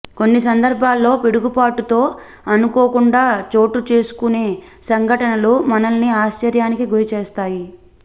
కొన్ని సందర్భాల్లో పిడుగుపాటుతో అనుకోకుండా చోటుచేసుకునే సంఘటనలు మనల్ని ఆశ్చర్యానికి గురిచేస్తాయి